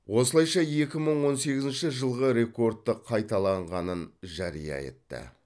осылайша екі мың он сегізінші жылғы рекордты қайталанғанын жария етті